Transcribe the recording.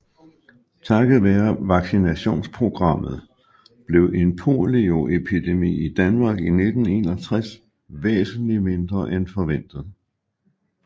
Takket være vaccinationsprogrammet blev en polioepidemi i Danmark i 1961 væsentlig mindre end forventet